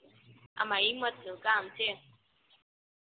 આમા હિંમત નું કામ છે